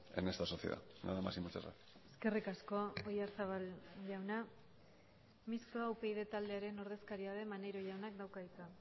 en esta sociedad nada más y muchas gracias eskerrik asko oyarzabal jauna mistoa upyd taldearen ordezkaria den maneiro jaunak dauka hitza